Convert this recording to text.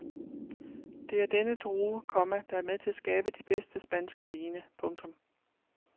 Det er denne drue, komma der er med til at skabe de bedste spanske vine. punktum